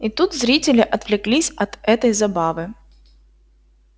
и тут зрители отвлеклись от этой забавы